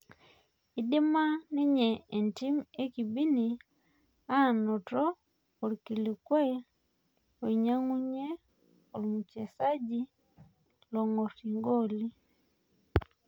Eidima ninje entim ekibini anoto orkilikuai loinyang'unyie ormuchesaji oong'or igooli